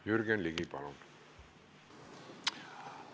Jürgen Ligi, palun!